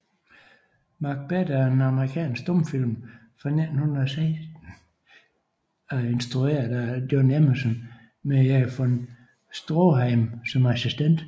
Macbeth er en amerikansk stumfilm fra 1916 af instrueret af John Emerson med Erich von Stroheim som assistent